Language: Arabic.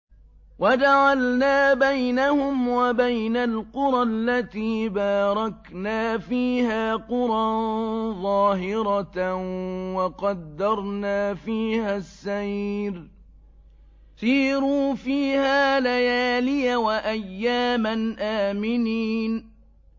وَجَعَلْنَا بَيْنَهُمْ وَبَيْنَ الْقُرَى الَّتِي بَارَكْنَا فِيهَا قُرًى ظَاهِرَةً وَقَدَّرْنَا فِيهَا السَّيْرَ ۖ سِيرُوا فِيهَا لَيَالِيَ وَأَيَّامًا آمِنِينَ